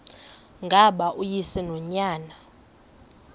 ngaba uyise nonyana